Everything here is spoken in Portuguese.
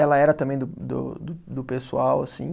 Ela era também do do do pessoal, assim.